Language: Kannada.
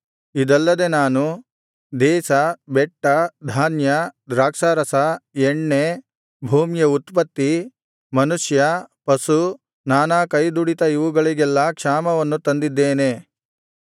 ಇದಲ್ಲದೆ ನಾನು ದೇಶ ಬೆಟ್ಟ ಧಾನ್ಯ ದ್ರಾಕ್ಷಾರಸ ಎಣ್ಣೆ ಭೂಮಿಯ ಉತ್ಪತ್ತಿ ಮನುಷ್ಯ ಪಶು ನಾನಾ ಕೈದುಡಿತ ಇವುಗಳಿಗೆಲ್ಲಾ ಕ್ಷಾಮವನ್ನು ತಂದಿದ್ದೇನೆ